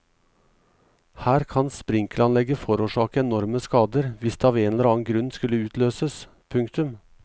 Her kan sprinkleranlegget forårsake enorme skader hvis det av en eller annen grunn skulle utløses. punktum